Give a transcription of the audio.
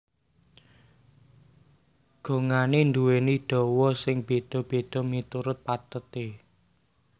Gongané nduwèni dawa sing béda béda miturut patheté